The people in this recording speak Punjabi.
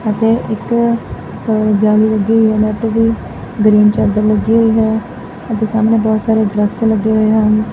ਅਤੇ ਇੱਕ ਅ ਜਾਲੀ ਲੱਗੀ ਹੋਈ ਨੈੱਟ ਦੀ। ਗ੍ਰੀਨ ਚਾਦਰ ਲੱਗੀ ਹੋਈ ਹੈ ਅਤੇ ਸਾਹਮਣੇ ਬਹੁਤ ਸਾਰੇ ਦਰੱਖਤ ਲੱਗੇ ਹੋਏ ਹਨ।